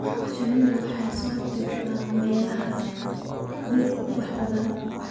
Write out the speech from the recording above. Shinnidu waxay soo jiidataa meelaha leh dhir ubax badan.